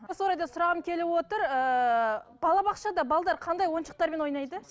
осы орайда сұрағым келіп отыр ііі балабақшада қандай ойыншықтармен ойнайды